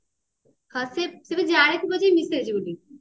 ହଁ ସେ ବି ଜାଣିଥିବ ଯେ ଇଏ ମିଶେଇଛି ବୋଲି